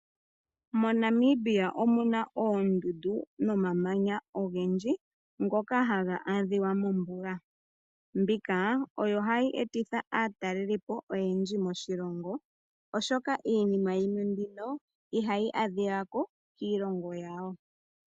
MoNamibia omuna oondundu nomamanya ogendji ngoka haga adhika mombuga. Mbika oyo hayi etitha aatalelipo oyendji moshilongo, oshoka iinima yimwe mbino ihayi adhika ko kiilongo yawo.